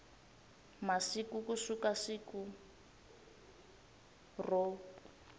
masiku ku suka siku ro